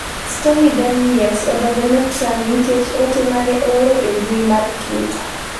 Stormy Daniels odonjone Trump nikech ote mane ooro e mbui mar twita